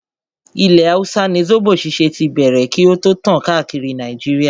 Ilẹ̀ hausa ni zobo ṣíṣe tí bẹ̀rẹ̀ kí o tó tàn káàkiri Nàìjíríà.